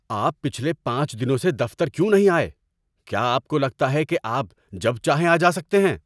آپ پچھلے پانچ دنوں سے دفتر کیوں نہیں آئے؟ کیا آپ کو لگتا ہے کہ آپ جب چاہیں آ جا سکتے ہیں؟